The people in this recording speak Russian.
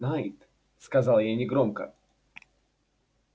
найд сказал я негромко